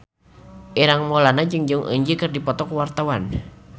Ireng Maulana jeung Jong Eun Ji keur dipoto ku wartawan